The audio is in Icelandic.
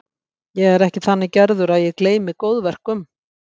Ég er ekki þannig gerður að ég gleymi góðverkum.